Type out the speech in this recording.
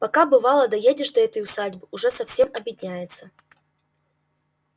пока бывало доедешь до этой усадьбы уже совсем обедняется